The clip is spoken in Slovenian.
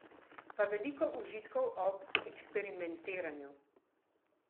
Pa veliko užitkov ob eksperimentiranju!